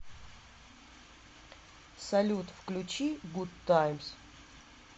салют включи гуд таймс